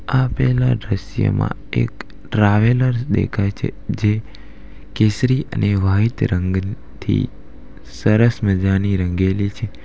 આપેલા દ્રશ્યમાં એક ટ્રાવેલર દેખાય છે જે કેસરી અને વાઈટ રંગથી સરસ મજાની રંગેલી છે.